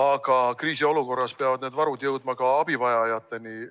aga kriisiolukorras peavad need varud jõudma ka abivajajateni?